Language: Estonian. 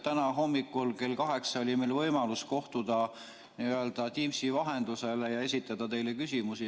Täna hommikul kell kaheksa oli meil võimalus kohtuda Teamsi vahendusel ja esitada teile küsimusi.